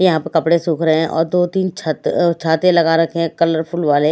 यहां पर कपड़े सूख रहे हैं और दो तीन छत अह छाते लगा रखे हैं कलरफुल वाले।